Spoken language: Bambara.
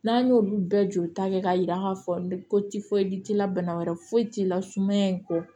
N'an y'olu bɛɛ jolita kɛ k'a yira k'a fɔ ko t'i la bana wɛrɛ foyi ti la sumaya in kɔ